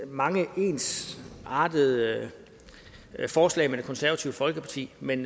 mange ensartede forslag med det konservative folkeparti men